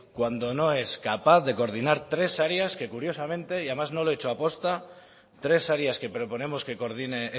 cuando no es capaz de coordinar tres áreas que curiosamente y además no lo he hecho aposta tres áreas que proponemos que coordine